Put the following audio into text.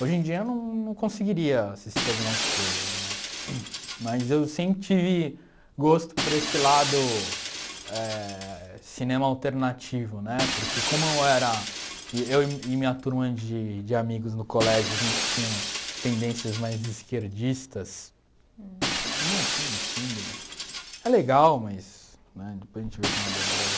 Hoje em dia eu não não conseguiria assistir algumas coisas né, mas eu sempre tive gosto por esse lado eh cinema alternativo, né, porque como era eu e minha turma de de amigos no colégio a gente tinha tendências mais esquerdistas, né, que no fundo é legal, né mas depois a gente vê que é uma bobagem.